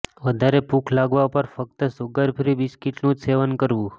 વધારે ભૂખ લાગવા પર ફક્ત સુગર ફ્રી બિસ્કિટ નું જ સેવન કરવું